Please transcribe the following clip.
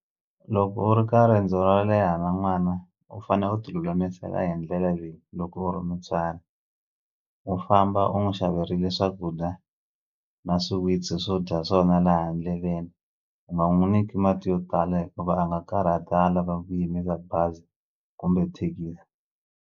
Loko u ri ka riendzo ro leha na n'wana u fane u ti lulamisela hi ndlela leyi loko u ri mutswari u famba u n'wi xaveriwile swakudya na swiwitsi swo dya swona laha ndleleni u nga n'wu niki mati yo tala hikuva a nga karhata a lava ku yimisa bazi kumbe thekisi.